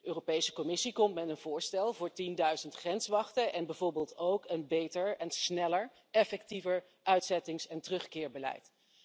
De Europese Commissie komt met een voorstel voor tienduizend grenswachten en bijvoorbeeld ook een beter, sneller en effectiever uitzettings en terugkeerbeleid.